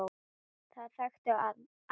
Það þekktu hann allir.